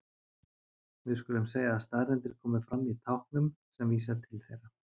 Við skulum segja að staðreyndir komi fram í táknum sem vísa til þeirra.